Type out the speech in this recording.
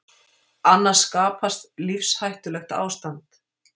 Annars skapast lífshættulegt ástand.